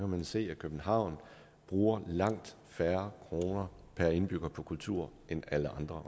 man se at københavn bruger langt færre kroner per indbygger på kultur end alle andre